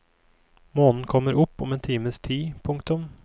Månen kommer opp om en times tid. punktum